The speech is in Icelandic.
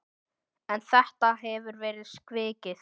En þetta hefur verið svikið.